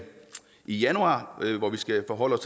januar hvor vi skal forholde